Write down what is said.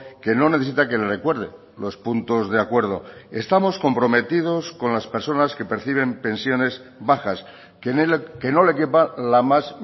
que no necesita que le recuerde los puntos de acuerdo estamos comprometidos con las personas que perciben pensiones bajas que no le quepa la más